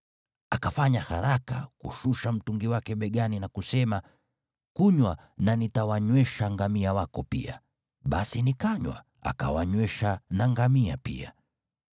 “Akafanya haraka kushusha mtungi wake begani na kusema, ‘Kunywa na nitawanywesha ngamia wako pia,’ basi nikanywa, akawanywesha na ngamia pia.